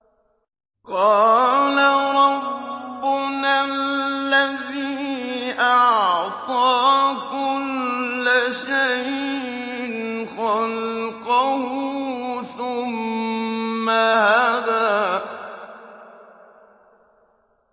قَالَ رَبُّنَا الَّذِي أَعْطَىٰ كُلَّ شَيْءٍ خَلْقَهُ ثُمَّ هَدَىٰ